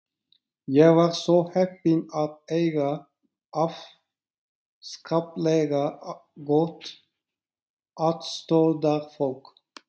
Ég var svo heppin að eiga afskaplega gott aðstoðarfólk.